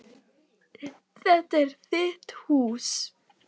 Þetta er þitt hús.